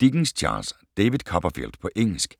Dickens, Charles: David Copperfield På engelsk.